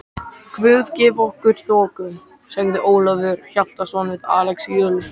Guð gefi okkur þoku, sagði Ólafur Hjaltason við Axel Jul.